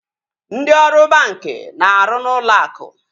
Ndị ọrụ banki na-arụ n'ụlọ akụ